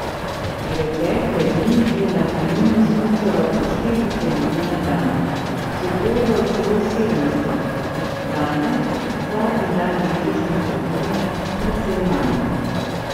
Pretekle dni je na Kaninu smučalo po štiristo ljudi na dan, v soboto celo sedemsto, danes, zadnji dan letošnje sezone, precej manj.